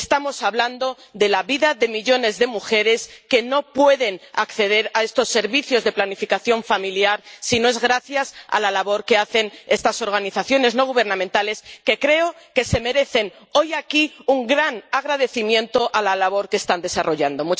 Estamos hablando de la vida de millones de mujeres que no pueden acceder a estos servicios de planificación familiar si no es gracias a la labor que hacen estas organizaciones no gubernamentales, que creo que se merecen hoy, aquí, un gran agradecimiento por la labor que están desarrollando.